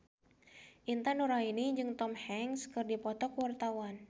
Intan Nuraini jeung Tom Hanks keur dipoto ku wartawan